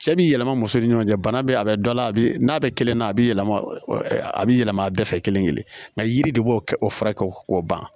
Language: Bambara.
Cɛ bi yɛlɛma muso ni ɲɔgɔn cɛ bana be a be dɔ a la a bi n'a bɛ kelenna a bi yɛlɛma a bi yɛlɛma a bɛɛ fɛ kelen-kelen nka yiri de b'o kɛ o furakɛ k'o ban